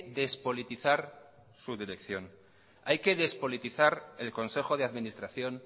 despolitizar su dirección hay que despolitizar el consejo de administración